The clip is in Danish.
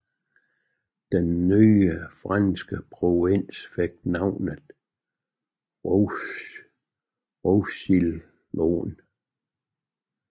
Den nye franske provins fik navnet Roussillon